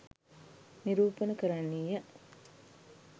නිරූපණ කරන්නීය